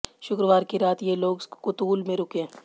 शुक्रवार की रात ये लोग कुतूल में रुके